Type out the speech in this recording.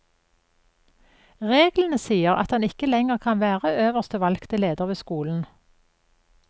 Reglene sier at han ikke lenger kan være øverste valgte leder ved skolen.